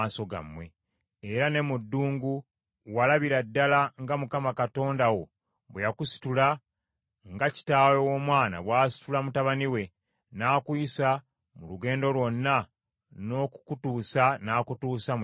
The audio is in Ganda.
Era ne mu ddungu walabira ddala nga Mukama Katonda wo bwe yakusitula, nga kitaawe w’omwana bw’asitula mutabani we, n’akuyisa mu lugendo lwonna n’okukutuusa n’akutuusa mu kifo kino.”